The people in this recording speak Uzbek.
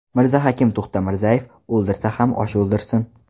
Mirzahakim To‘xtamirzayev: O‘ldirsa ham osh o‘ldirsin.